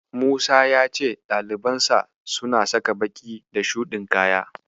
Musa ya ce ɗalibansa suna saka baƙi da shuɗin kaya.